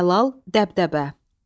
Cəlal, dəbdəbə.